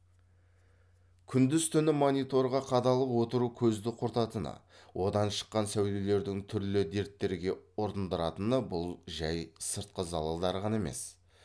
күндіз түні мониторға қадалып отыру көзді құртатыны одан шыққан сәулелердің түрлі дерттерге ұрындыратыны бұл жәй сыртқы залалдары ғана емес